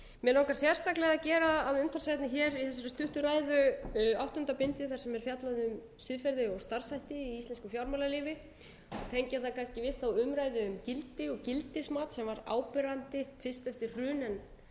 mig langa sérstaklega að gera að umtalsefni hér í þessari stuttu ræðu áttunda bindið þar sem er fjallað um siðferði og starfshætti í íslensku fjármálalífi tengja það kannski við umræðuna um gildi og gildismat sem var áberandi fyrst eftir hrun en dofnaði kannski yfir þegar farið var